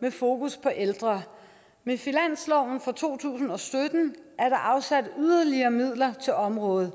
med fokus på ældre med finansloven for to tusind og sytten er der afsat yderligere midler til området